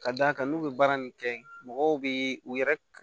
Ka d'a kan n'u bɛ baara nin kɛ mɔgɔw bɛ u yɛrɛ